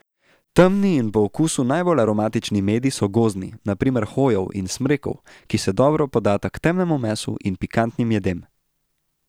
Temni in po okusu najbolj aromatični medi so gozdni, na primer hojev in smrekov, ki se dobro podata k temnemu mesu in pikantnim jedem.